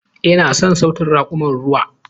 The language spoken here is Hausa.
Ina son sautin raƙuman ruwa.